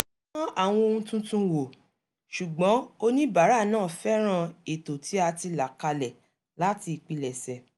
a dán àwọn ohun tuntun wò ṣùgbọ́n oníbàárà náà fẹ́ràn ètò tí a ti là kalẹ̀ láti ìpilẹ̀sẹ̀